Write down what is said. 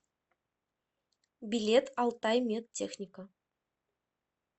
билет алтаймедтехника